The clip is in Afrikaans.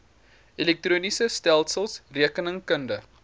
elektroniese stelsels rekeningkundige